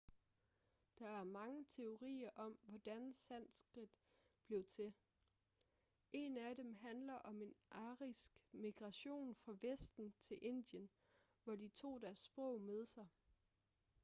der er mange teorier om hvordan sanskrit blev til en af dem handler om en arisk migration fra vesten til indien hvor de tog deres sprog med sig